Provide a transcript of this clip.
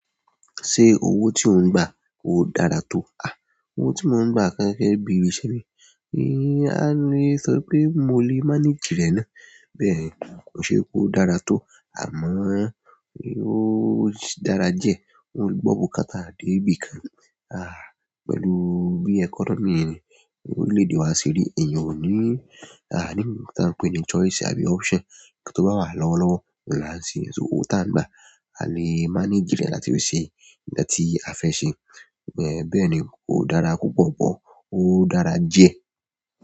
Ṣé owó tí ò ń gba ò dára tó? Àh, owó tí mo ń gba ni ibi iṣẹ́ mi, a lè sọ pé mo lè manage rẹ̀ ná. Bẹ́ẹ̀ ni, kò n se wípé ó dára tó, àmọ́ ó dára diẹ. O ń gbọ̀ bukata dé ibi kan. Àh, pẹ̀lú bí economy, orílẹ̀-èdè wa ṣe rí, ẹ̀eyan ò ní, àa ní ohun ta ń pè ní choice àbí option. Nǹkan tó bá wà lọ́wọ́lọ́wọ́, uń la n ṣe so owó tí a ń gba. A lè manage rẹ̀ láti ṣe nǹkan tí a fẹ́ ṣe. Bẹ́ẹ̀ ni, kò dára púpọ̀ pọ̀, ó dára diẹ.